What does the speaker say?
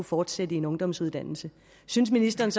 fortsætte i en ungdomsuddannelse synes ministeren